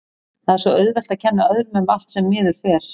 Það er svo auðvelt að kenna öðrum um allt sem miður fer.